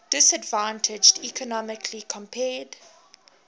disadvantaged economically compared